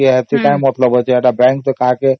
bank ତ ସମସ୍ତଙ୍କ